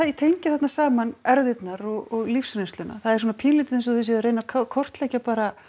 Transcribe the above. tengja þarna saman erfðirnar og lífsreynsluna það er svona pínulítið eins og þið séuð að reyna að kortleggja bara